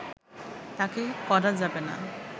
তাকে করা যাবে না